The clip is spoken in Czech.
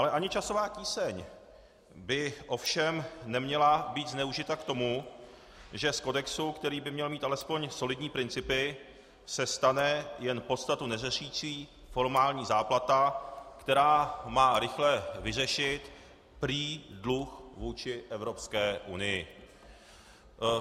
Ale ani časová tíseň by ovšem neměla být zneužita k tomu, že z kodexu, který by měl mít alespoň solidní principy, se stane jen podstatu neřešící formální záplata, která má rychle vyřešit prý dluh vůči Evropské unii.